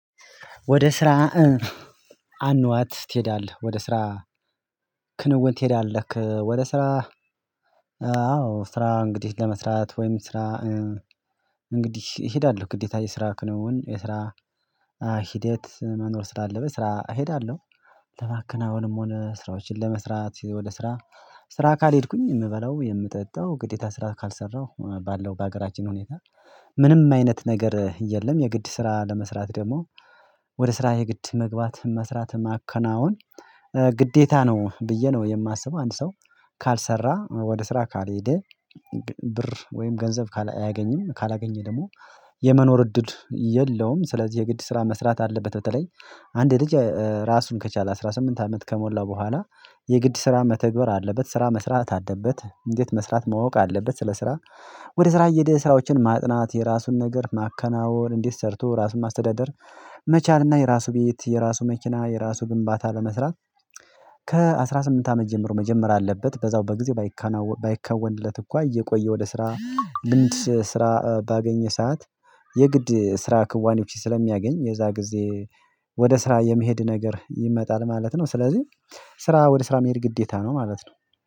ወደ ስራ አኗት ትሄዳለህ ወደ ስራ ክንውን ትሄዳለህ ወደ ስራ ስራ እንግዲህ ለመስራት ወይም ስራ እንግዲህ እሄዳለሁ ግዴታ የስራ ክንውን የስራ ሂደት መኖር ስላለበት ስራ እሄዳለሁ ለማከናወንም ሆነ ስራዎችን ለመስራት ወደ ስራ ስራ ካልሄድኩኝ የምበላው የምጠጣው ግዴታ ስራ ካልሰራሁ ባለው በሀገራችን ሁኔታ ምንም አይነት ነገር የለም የግድ ስራ ለመስራት ደግሞ ወደ ስራ የግድ መግባት መስራት ማከናወን ግዴታ ነው ብዬ ነው የማስበው። አንድ ሰው ካልሰራ ወደ ስራ ካልሄደ ብር ወይም ገንዘብ አያገኝም ካላገኘ ደግሞ የመኖር እድል የለውም ስለዚህ የግድ ስራ መስራት አለበት። በተለይ አንድ ልጅ ራሱን ከቻለ አስራ ስምንት አመት ከሞላ በኋላ የግድ ስራ መተግበር አለበት። ስራ መስራት አደበት እንዴት መስራት ማወቅ አለበት። ስለ ስራ ወደ ስራ እየሄደ ስራዎችን ማጥናት የራሱን ነገር ማከናወን እንዴት ሰርቶ ራሱን ማስተዳደር መቻልና የራሱ ቤት የራሱ መኪና የራሱ ግንባታ ለመስራት። ከአሥራ ስምንት አመት ጀምሮ መጀመር አለበት በዛው በጊዜ ባይከናወን ባይከወንለት እንኳን እየቆየ ወደ ስራ ስራ ባገኘ ሰዓት የግድ ስራ ክዋኒዎች ስለሚያገኝ የዛ ጊዜ ወደ ስራ የመሄድ ነገር ይመጣል ማለት ነው። ስለዚህ ስራ ወደ ስራ መሄድ ግዴታ ነው ማለት ነው።